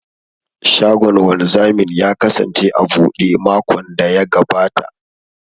Shagon wanzamin ya kasance a buɗe makon da ya gabata.